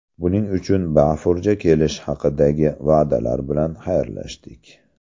Buning uchun bafurja kelish haqidagi va’dalar bilan xayrlashdik.